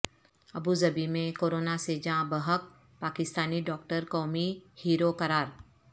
Abu Dhabi میں corona سے جاں بحق پاکستانی ڈاکٹر قومی ہیرو قرار